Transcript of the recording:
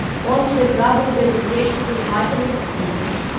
он всегда был безупречно внимателен к ней